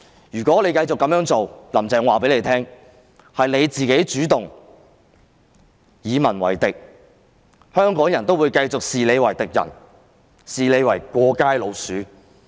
如果"林鄭"繼續這樣做，我要告訴她，是她主動與民為敵，香港人會繼續視她為敵人、"過街老鼠"。